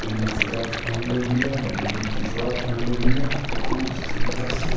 blue slacks पहिनला बीया blue t-shirt पहिनला बीया अ खूब सुंदर से --